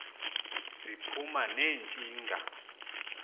ziphuma ne ntshinga